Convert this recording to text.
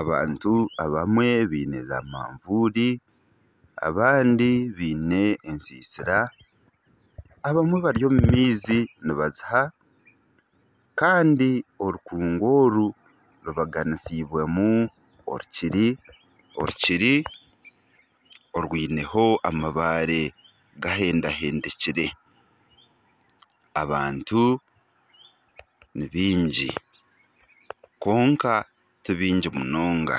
Abantu abamwe baine zaamanvuuri, abandi baine ensiisira abamwe bari omu maizi nibaziha. Kandi orikungu oru rubaganisiibwemu orukiri, orukiri orwiineho amabaare gahendahendikire. Abantu nibaingi, kwonka tibaingi munonga.